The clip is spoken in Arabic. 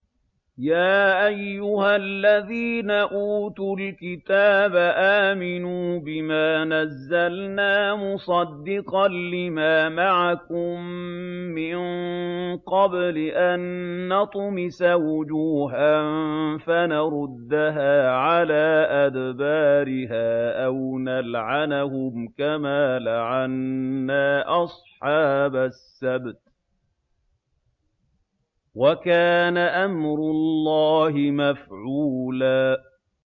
يَا أَيُّهَا الَّذِينَ أُوتُوا الْكِتَابَ آمِنُوا بِمَا نَزَّلْنَا مُصَدِّقًا لِّمَا مَعَكُم مِّن قَبْلِ أَن نَّطْمِسَ وُجُوهًا فَنَرُدَّهَا عَلَىٰ أَدْبَارِهَا أَوْ نَلْعَنَهُمْ كَمَا لَعَنَّا أَصْحَابَ السَّبْتِ ۚ وَكَانَ أَمْرُ اللَّهِ مَفْعُولًا